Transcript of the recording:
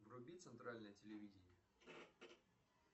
вруби центральное телевидение